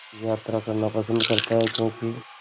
यात्रा करना पसंद करता है क्यों कि